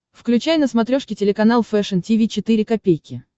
включай на смотрешке телеканал фэшн ти ви четыре ка